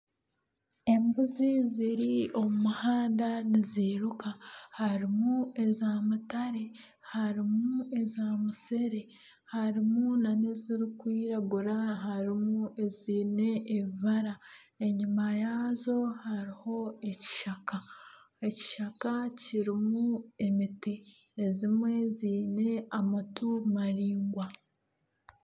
Embuzi ziri omu muhanda nizairuka harimu eza mutare harimu eza musere harimu na n'ezirikwiragura harimu eziine ebibara enyima yaazo hariho ekishaka, ekishaka kirimu emiti ezimwe ziine amatu maraingwa.